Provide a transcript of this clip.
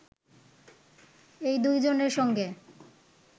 এই দুজনের সঙ্গে